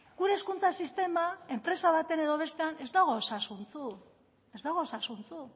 gure hezkuntza sistema enpresa batean edo bestean ez dago osasuntsu ez dago osasuntsu